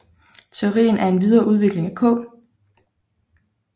Teorien er en videre udvikling af K